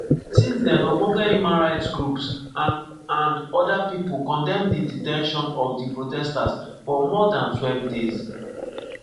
since den ogbonge human rights groups and and oda pipo condemn di de ten tion of di protesters for more than twelve days.